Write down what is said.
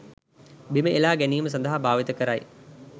බිම එළා ගැනීම සඳහා භාවිත කරයි.